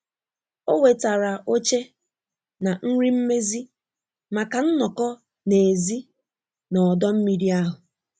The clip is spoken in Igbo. O wetara oche na nri mmezi maka nnọkọ n'èzí na ọdọ mmiri ahụ.